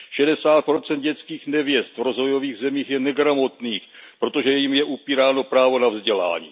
60 dětských nevěst v rozvojových zemích je negramotných, protože jim je upíráno právo na vzdělání.